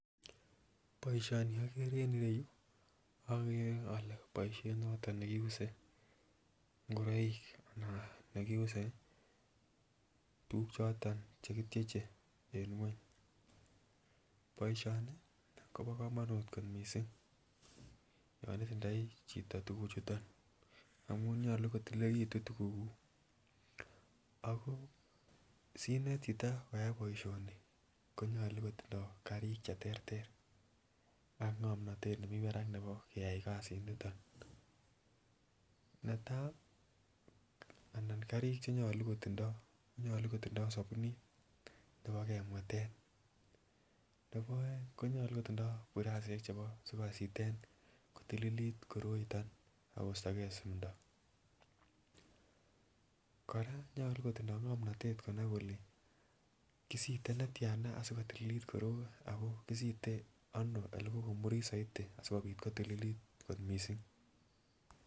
Boishoni en okere en ireyuu okere ole boishet noton nekiuse ngoroik anan nekiuse tukuk choton chekityeche en ngweny, boishoni Kobo komonut ko missing yon itindoi chito tukuk chuton amun nyolu kotililekitun tukukuk ak ko sinet chito koyai boishoni konyolu kotindo karik cheterter ak ngomnotet nemii barak nebo keyai kasit niton. Netai anan karik chenyolu kotindo konyolu kotindo sobunit nebo kwemweten, nebo oeng konyolu kotindo burasishek chebo sikositen kotililit koroiton ak kostogee simbdo. Koraa ko nyolu kotindo ngomnotet konai kole kisite netyana asikotililit koroi ako kisite ano ole kokomurit soiti asikobit kotililit kot missing.